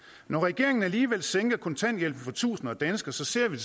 når regeringen alligevel sænker kontanthjælpen for tusinder af danskere ser vi